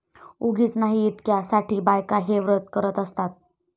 उगीच नाही इतक्या साठी बायका हे व्रत करत असतात